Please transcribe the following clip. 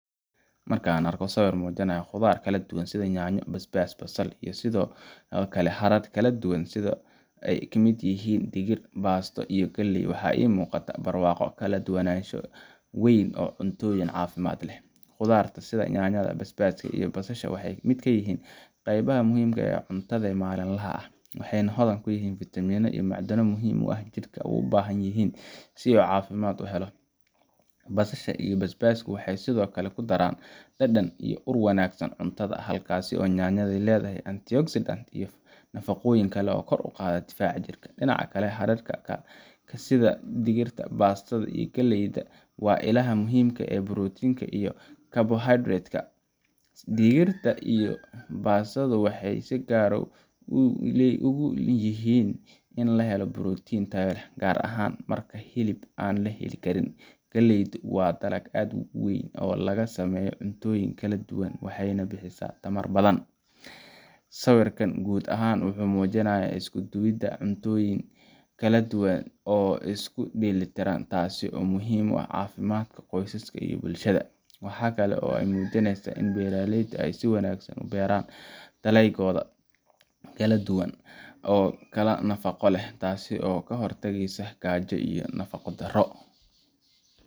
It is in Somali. Marka aan arko sawir muujinaya khudaar kala duwan sida yaanyo, basbaas, basal iyo sidoo kale hadhadh kala duwan sida ay ka mid yihiin digir, baasto , iyo galley, waxa ii muuqda barwaaqo iyo kala duwanaansho weyn oo cuntooyin caafimaad leh. Khudaarta sida yaanyada, basbaaska, iyo basasha waxay ka mid yihiin qaybaha muhiimka ah ee cuntada maalinlaha ah. Waxay hodan ku yihiin fiitamiinno iyo macdano muhiim ah oo jidhka u baahan yihin si uu caafimaad u helo. Basasha iyo basbaasku waxay sidoo kale ku daraan dhadhan iyo ur wanaagsan cuntada, halka yaanyada ay leeyihiin antioxidants iyo nafaqooyin kale oo kor u qaada difaaca jirka. Dhinaca kale, hadhadhka sida digirta, baastada, iyo galleyda waa ilaha muhiimka ah ee borotiinka iyo carbohydrate. Digirta iyo baastadu waxay si gaar ah muhiim ugu yihiin in la helo borotiin tayo leh, gaar ahaan marka hilibka aan la heli karin. Galleydu waa dalag aad u weyn oo laga sameeyo cuntooyin kala duwan, waxayna bixisaa tamar badan. Sawirkan guud ahaan wuxuu ii muujinayaa isku-duwidda cuntooyin kala duwan oo isku dheelitiran, taas oo muhiim u ah caafimaadka qoyska iyo bulshada. Waxa kale oo ay muujinaysaa in beeraleyda ay si wanaagsan u beeraan dalagoda kala duwan oo kala nafaqo leh, taas oo ka hortagaysa gaajo iyo nafaqo-daro.